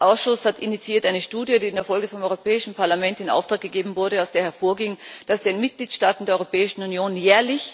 Der Ausschuss hat eine Studie initiiert, die in der Folge vom Europäischen Parlament in Auftrag gegeben wurde, aus der hervorging, dass den Mitgliedstaaten der Europäischen Union jährlich